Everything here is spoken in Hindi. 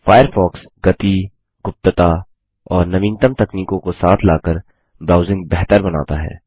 फ़ायरफ़ॉक्स गति गुप्तताऔर नवीनतम तकनीकों को साथ लाकर ब्राउज़िंग बेहतर बनाता है